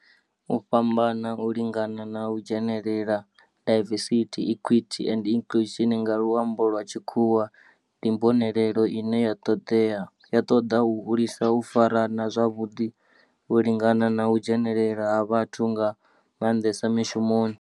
U fhambana, u lingana na u dzhenelela, diversity, equity and inclusion nga lwambo lwa tshikhuwa, ndi mbonelelo ine ya toda u hulisa u farana zwavhudi, u lingana na u dzhenelela ha vhathu nga mandesa mishumoni.